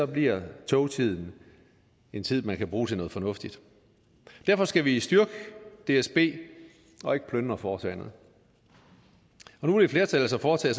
bliver togtiden en tid man kan bruge til noget fornuftigt derfor skal vi styrke dsb og ikke plyndre foretagendet nu vil et flertal altså foretage